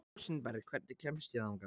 Rósinberg, hvernig kemst ég þangað?